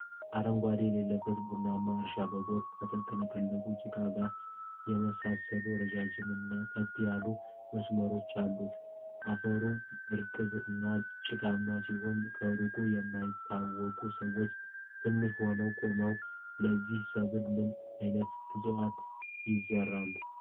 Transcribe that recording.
አረንጓዴ የሌለበት ቡናማ እርሻ፣ በጎርፍ ከተጥለቀለቀ ጭቃ ጋር የሚመሳሰሉ ረጅም እና ቀጥ ያሉ መስመሮች አሉት። አፈሩ እርጥብ እና ጭቃማ ሲሆን፣ ከሩቅ የማይታወቁ ሰዎች ትንሽ ሆነው ቆመዋል። ለዚህ ሰብል ምን አይነት እፅዋት ይዘራሉ?